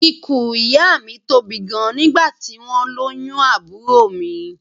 Ikùn ìyá mi tóbi gan nígbà tí wọ́n lóyún àbúrò mi